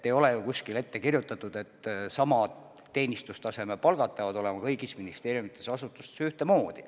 Ei ole ju kuskil ette kirjutatud, et samad teenistustaseme palgad peavad olema kõigis ministeeriumides ja muudes asutustes ühtemoodi.